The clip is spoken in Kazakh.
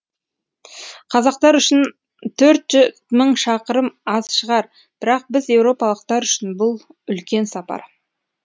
қазақтар үшін төрт мың шақырым аз шығар бірақ біз еуропалықтар үшін бұл үлкен сапар